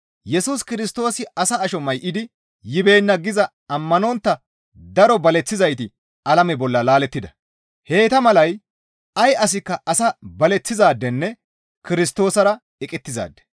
Yesus Kirstoosi asa asho may7idi yibeenna giza ammanontta daro baleththizayti alame bolla laalettida; heyta malay ay asikka as baleththizaadenne Kirstoosara eqettizaade.